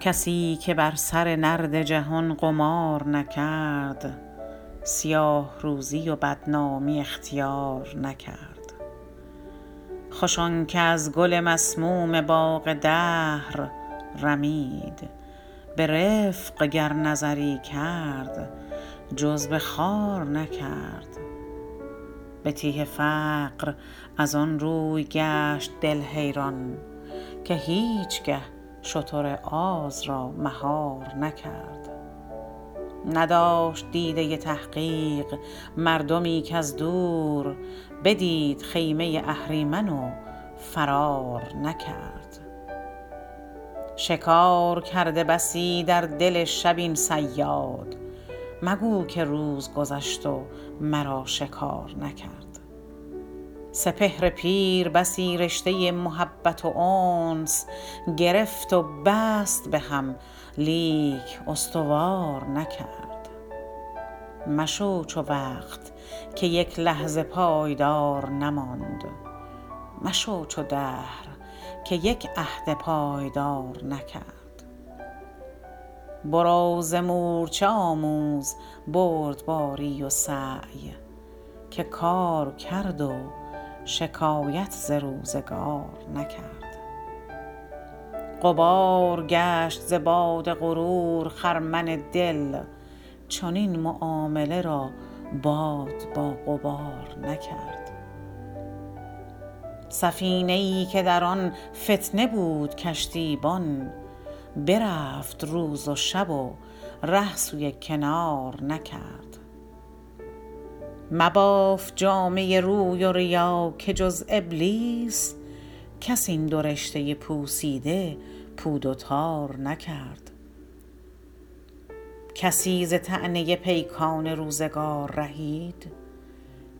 کسی که بر سر نرد جهان قمار نکرد سیاه روزی و بدنامی اختیار نکرد خوش آنکه از گل مسموم باغ دهر رمید برفق گر نظری کرد جز به خار نکرد به تیه فقر ازان روی گشت دل حیران که هیچگه شتر آز را مهار نکرد نداشت دیده تحقیق مردمی کاز دور بدید خیمه اهریمن و فرار نکرد شکار کرده بسی در دل شب این صیاد مگو که روز گذشت و مرا شکار نکرد سپهر پیر بسی رشته محبت و انس گرفت و بست بهم لیک استوار نکرد مشو چو وقت که یک لحظه پایدار نماند مشو چو دهر که یک عهد پایدار نکرد برو ز مورچه آموز بردباری و سعی که کار کرد و شکایت ز روزگار نکرد غبار گشت ز باد غرور خرمن دل چنین معامله را باد با غبار نکرد سفینه ای که در آن فتنه بود کشتیبان برفت روز و شب و ره سوی کنار نکرد مباف جامه روی و ریا که جز ابلیس کس این دو رشته پوسیده پود و تار نکرد کسی ز طعنه پیکان روزگار رهید